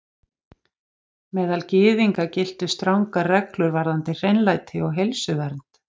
Meðal Gyðinga giltu strangar reglur varðandi hreinlæti og heilsuvernd.